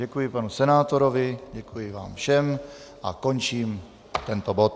Děkuji panu senátorovi, děkuji vám všem a končím tento bod.